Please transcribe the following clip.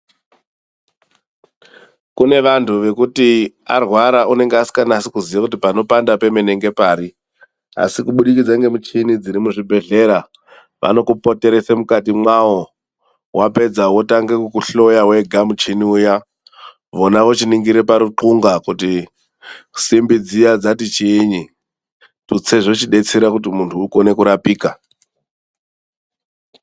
Kune vantu vekuti arwara unenge asikanasi kuziya kuti panopanda pemene ngepari. Asi kubudikidza ngemichini dziri muzvibhedhlera, vanokupoteresa mukati mwawo. Wapedza wotange kukuhloya wega muchini uya ,vona vochiningira paruxunga kuti simbi dziya dzati chiinyi? Tutse zvochidetsera kuti muntu ukone kurapika.